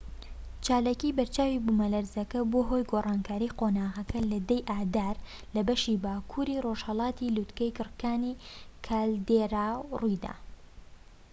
چالاکی بەرچاوی بوومەلەرزە کە بووە هۆی گۆڕانکاری قۆناغەکە لە 10 ی ئادار لە بەشی باکووری ڕۆژهەڵاتی لووتکەی گڕکانی کالدێرا ڕوویدا